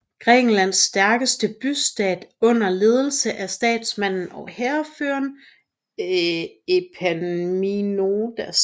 Grækenlands stærkeste bystat under ledelse af statsmanden og hærføreren Epaminondas